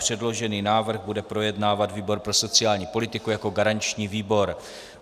Předložený návrh bude projednávat výbor pro sociální politiku jako garanční výbor.